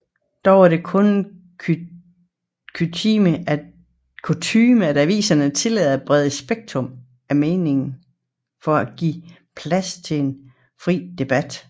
Dog er det kutyme at aviserne tillader et bredt spektrum af meninger for at give plads til en fri debat